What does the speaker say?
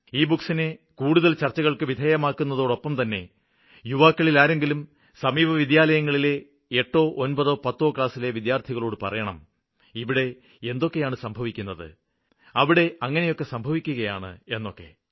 E ബുക്കുകളെ കൂടുതല് ചര്ച്ചകള്ക്ക് വിധേയമാക്കുന്നതോടൊപ്പംതന്നെ യുവാക്കളില് ആരെങ്കിലും സമീപ വിദ്യാലയങ്ങളിലെ എട്ടോ ഒന്പതോ പത്തോ ക്ലാസ്സിലെ വിദ്യാര്ത്ഥികളോട് പറയണം ഇവിടെ എന്തൊക്കെയാണ് സംഭവിക്കുന്നത് അവിടെ അങ്ങനെയൊക്കെ സംഭവിക്കുകയാണ് എന്നൊക്കെ